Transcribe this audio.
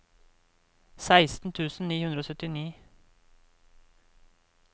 seksten tusen ni hundre og syttini